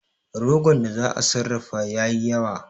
Rogon da za'a sarrafa ya yi yawa